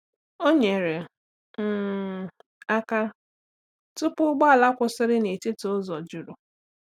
Ọ nyerè um aka tụ̀pụ̀ ụgbọ̀ala kwụsịrị n’etiti ụzọ jurù.